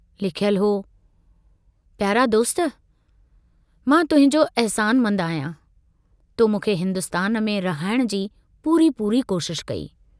लिखयलु हो प्यारा दोस्त, मां तुहिंजो अहसानमंद आहियां, तो मूंखे हिन्दुस्तान में रहाइण जी पूरी पूरी कोशशि कई।